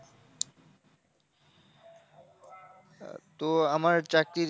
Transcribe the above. তো আমার চাকরির,